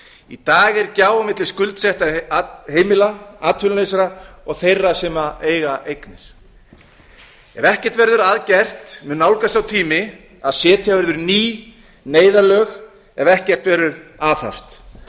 í dag er gjá milli skuldsettra heimila atvinnulausra og þeirra sem eiga eignir ef ekkert verður að gert mun nálgast sá tími að setja verður ný neyðarlög ef ekkert verður aðhafst